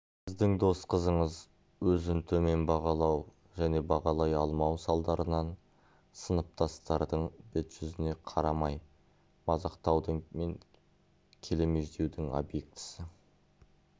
сіздің дос қызыңыз өзін төмен бағалау және бағалай алмау салдарынан сыныптастардың бет жүзіне қарамай мазақтаудың және келемеждеудің объектісі